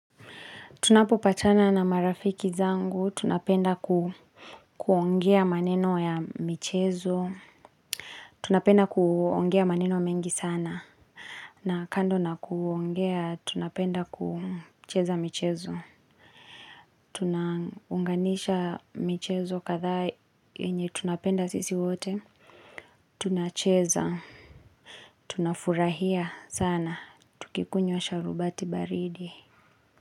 Tunapo patana na marafiki zangu. Tunapenda kuongea maneno ya michezo. Tunapenda kuongea maneno mengi sana. Na kando na kuongea tunapenda kucheza michezo. Tunanganisha michezo kadha yenye tunapenda sisi wote. Tunacheza. Tunafurahia sana. Tukikunywa sharubati baridi.